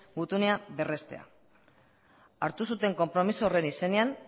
gutuna berrestea hartu zuten konpromezu horren izenean